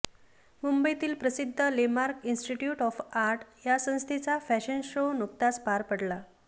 मुंबईतील प्रसिद्ध Lemark institute of art या संस्थेचा फॅशन शो नुकताच पार पडला